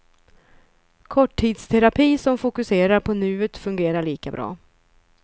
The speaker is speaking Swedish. Korttidsterapi som fokuserar på nuet fungerar lika bra.